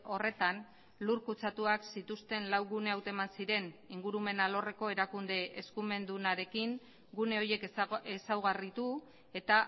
horretan lur kutsatuak zituzten lau gune hauteman ziren ingurumen alorreko erakunde eskumendunarekin gune horiek ezaugarritu eta